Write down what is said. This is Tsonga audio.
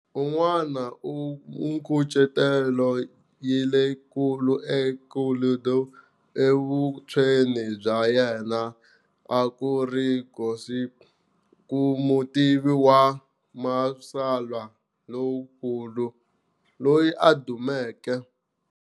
Un'wana u minkucetelo leyikulu eCollodi evuntshweni bya yena a ku ri Giuseppe mutivi wa matsalwa lonkulu loyi a dumeke.